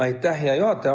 Aitäh, hea juhataja!